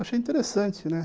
Eu achei interessante, né?